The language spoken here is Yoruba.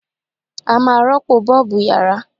A máa rọ́pò Bọ́ọ̀bù yàrá.